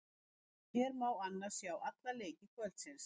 Hér má annars sjá alla leiki kvöldsins.